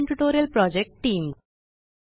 spoken tutorial project team